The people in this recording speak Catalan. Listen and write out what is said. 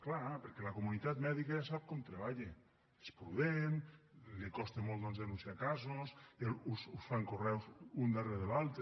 clar perquè la comunitat mèdica ja sap com treballa és prudent li costa molt doncs denunciar casos us fan correus un darrere l’altre